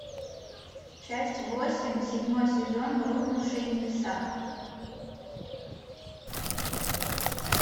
часть восемь седьмой сезон рухнувшие небеса